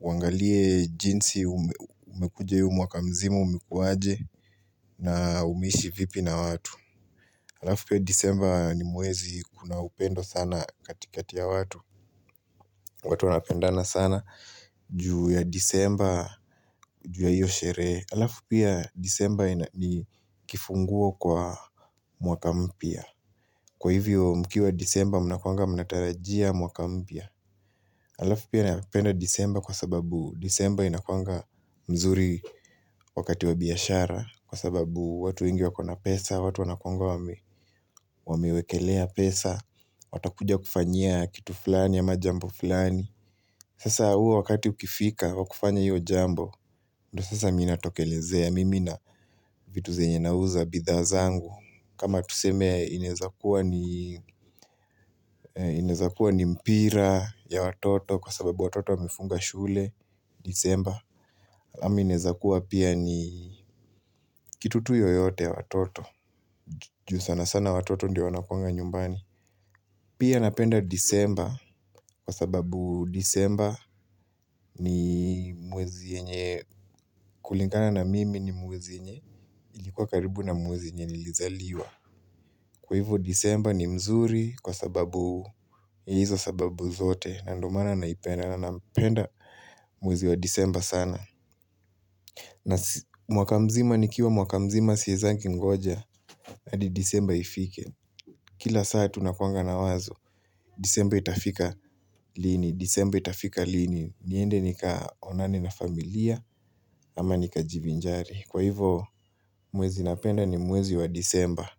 uangalie jinsi umekuja hiyo mwaka mzima, umekuwaje, na umeishi vipi na watu. Halafu pia Desemba ni mwezi, kuna upendo sana katikati ya watu, watu wanapendana sana juu ya Desemba, juu ya hiyo sherehe. Halafu pia Desemba ni kifunguo kwa mwaka mpya. Kwa hivyo mkiwa Desemba mnakuwanga mnatarajia mwaka mpya Halafu pia napenda Desemba kwa sababu Desemba inakuwanga mzuri wakati wa biashara kwa sababu watu wengi wako na pesa, watu wanakuwanga wamewekelea pesa Watakuja kufanyia kitu fulani ama jambo fulani Sasa huo wakati ukifika wa kufanya hiyo jambo, ndio sasa mimi natokelezea, mimi na vitu zenye nauza, bidhaa zangu. Kama tuseme inaeza kuwa ni mpira ya watoto kwa sababu watoto wamefunga shule, Desemba. Ama inaeza kuwa pia ni kitu tu yoyote ya watoto. Juu sana sana watoto ndio wanakuwanga nyumbani. Pia napenda Desemba kwa sababu Desemba ni mwezi yenye, kulingana na mimi ni mwezi yenye ilikuwa karibu na mwezi yenye nilizaliwa. Kwa hivyo Desemba ni mzuri kwa sababu, ni hizo sababu zote. Na ndio maana naipenda na nampenda mwezi wa Desemba sana na mwaka mzima nikiwa mwaka mzima siezangi ngoja. Hadi Desemba ifike. Kila saa tunakuwanga na wazo Desemba itafika lini, Desembe itafika lini? Niende nikaonane na familia, ama nikajivinjari. Kwa hivyo, mwezi napenda ni mwezi wa Desemba.